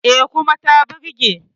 E, kuma ta burge.